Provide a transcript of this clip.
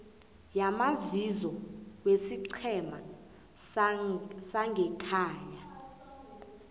yamazizo yesiqhema sangekhaya